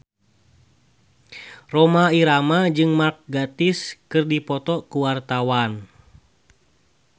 Rhoma Irama jeung Mark Gatiss keur dipoto ku wartawan